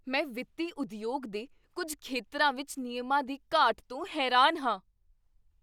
ਮੈਂ ਵਿੱਤੀ ਉਦਯੋਗ ਦੇ ਕੁੱਝ ਖੇਤਰਾਂ ਵਿੱਚ ਨਿਯਮਾਂ ਦੀ ਘਾਟ ਤੋਂ ਹੈਰਾਨ ਹਾਂ।